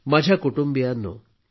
माझ्या कुटुंबियांनो